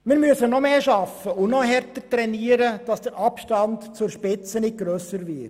Wir müssen noch mehr arbeiten und noch härter trainieren, damit der Abstand zur Spitze nicht grösser wird.